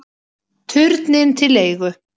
Turninn til leigu